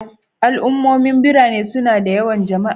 Al'ummomin birane suna da yawan jama'a